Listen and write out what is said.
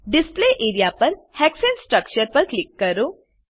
display area પર હેક્સાને structure પર ક્લિક કરો